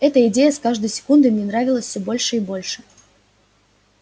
эта идея с каждой секундой мне нравилась все больше и больше